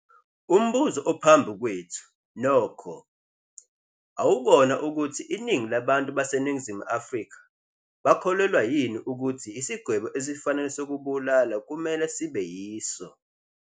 Umbuzo ophambi kwethu, nokho, awukona ukuthi iningi labantu baseNingizimu Afrika bakholelwa yini ukuthi isigwebo esifanele sokubulala kumele sibe yiso.